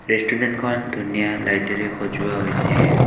ৰেষ্টোৰেন্তখন ধুনীয়া লাইটেৰে সজোৱা হৈছে।